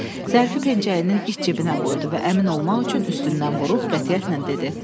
Zərfi pencəyinin iç cibinə qoydu və əmin olmaq üçün üstündən vurub qətiyyətlə dedi: